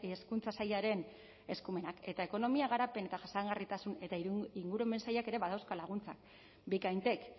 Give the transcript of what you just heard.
hezkuntza sailaren eskumenak eta ekonomia garapen jasangarritasun eta ingurumen sailak ere badauzka laguntzak bikaintek